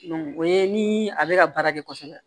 o ye ni a bɛ ka baara kɛ kosɛbɛ